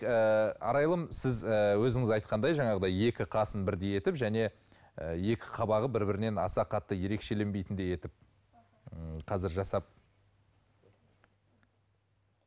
ыыы арайлым сіз ы өзіңіз айтқандай жаңағыдай екі қасын бірдей етіп және екі қабағы бір бірінен аса қатты ерекшеленбейтіндей етіп м қазір жасап